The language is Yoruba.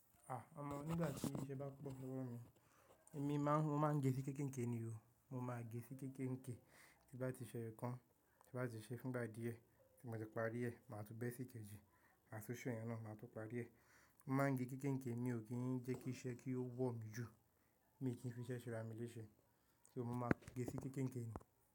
À, ọmọ nígbà tí iṣẹ́ bá po lowọ̀ mí, èmi máa ń, mo máa ń gẹ sí kékéńké ni o. Mo máa gẹ sí kékéńké, tí n bá ti ṣẹ́ eyo kan, tí bá ti ṣe fún ìgbà díẹ̀, tí mo ti parí rẹ̀, màá tún bẹ́ sí kejì, ma tun ṣe iyen náà, màá tún parí rẹ̀. Mo máa ń gé kékéńké, mi ò kí ń jẹ́ kí iṣẹ́ kí ó wọ̀ mí jù, mi ò kí ń fi iṣẹ́ ṣẹ́ ra mi léṣe. So mo máa gẹ sí kékéńké ni.